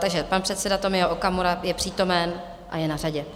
Takže pan předseda Tomio Okamura je přítomen a je na řadě.